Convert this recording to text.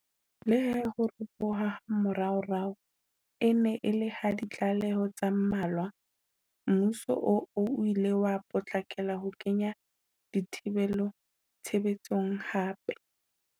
Leha ho ropoha ha moraorao e ne e le ha ditlaleho tse mmalwa, mmuso oo o ile wa potlakela ho kenya dithibelo tshebe tsong hape.